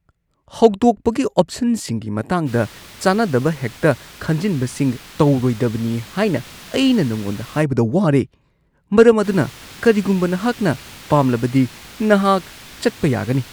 ꯍꯧꯗꯣꯛꯄꯒꯤ ꯑꯣꯞꯁꯟꯁꯤꯡꯒꯤ ꯃꯇꯥꯡꯗ ꯆꯥꯟꯅꯗꯕ ꯍꯦꯛꯇ ꯈꯟꯖꯤꯟꯕꯁꯤꯡ ꯇꯧꯔꯣꯏꯗꯕꯅꯤ ꯍꯥꯏꯅ ꯑꯩꯅ ꯅꯉꯣꯟꯗ ꯍꯥꯏꯕꯗ ꯋꯥꯔꯦ, ꯃꯔꯝ ꯑꯗꯨꯅ ꯀꯔꯤꯒꯨꯝꯕ ꯅꯍꯥꯛꯅ ꯄꯥꯝꯂꯕꯗꯤ ꯅꯍꯥꯛ ꯆꯠꯄ ꯌꯥꯒꯅꯤ ꯫ (ꯐꯤꯠꯅꯦꯁ ꯇ꯭ꯔꯦꯅꯔ)